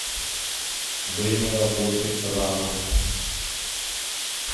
время работы рамус